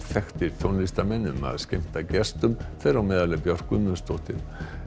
þekktir tónlistarmenn um að skemmta gestum þeirra á meðal Björk Guðmundsdóttir